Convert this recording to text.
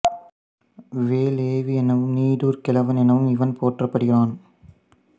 வேள் எவ்வி எனவும் நீடூர் கிழவன் எனவும் இவன் போற்றப்படுகிறான்